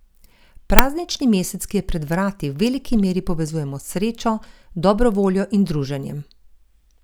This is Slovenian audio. Praznični mesec, ki je pred vrati v veliki meri povezujemo s srečo, dobro voljo in druženjem.